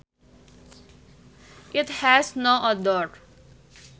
It has no odor